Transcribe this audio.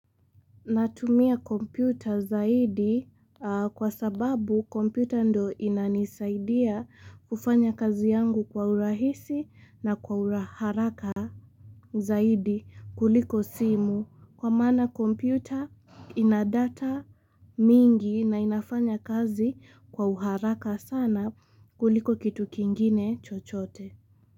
Natumia kompyuta zaidi kwa sababu kompyuta ndio inanisaidia kufanya kazi yangu kwa urahisi na kwa uharaka zaidi kuliko simu kwa maana kompyuta ina data mingi na inafanya kazi kwa uharaka sana kuliko kitu kingine chochote.